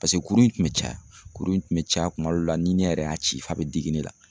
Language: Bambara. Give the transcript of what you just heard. Paseke kuru in kun be caya, kuru in kun be caya kuma dɔw la ni ne yɛrɛ y'a ci f'a be digi ne na.